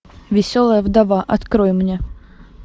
веселая вдова открой мне